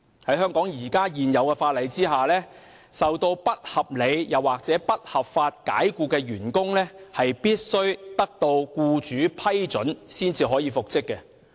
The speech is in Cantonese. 在香港現行法例下，遭不合理及不合法解僱的員工必須得到僱主批准才可復職。